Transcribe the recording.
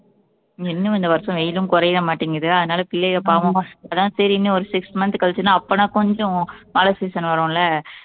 இன்னும் இந்த வருஷம் வெயிலும் குறைய மாட்டேங்குது அதனால பிள்ளைகள் பாவம் அதான் சரி இன்னும் ஒரு six month கழிச்சுதுன்னா அப்பனா கொஞ்சம் மழை season வரும் இல்லை